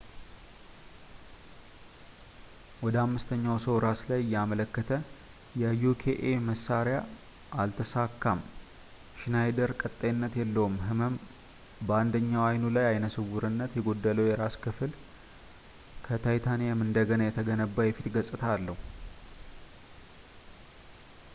ወደ አምስተኛው ሰው ራስ ላይ እያመለከተ የ uka መሣሪያ አልተሳካም። ሽናይደር ቀጣይነት ያለው ህመም ፣ በአንደኛው አይኑ ላይ ዓይነ ስውርነት ፣ የጎደለው የራስ ቅል ክፍል እና ከታይታኒየም እንደገና የተገነባ የፊት ገጽታ አለው